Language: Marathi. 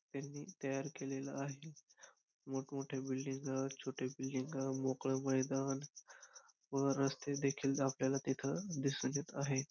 त्यांनी तयार केलेला आहे. मोठमोठ्या बिल्डिंगा छोट्या बिल्डिंगा मोकळं मैदान व रस्ते देखील आपल्याला तिथं दिसून येत आहे.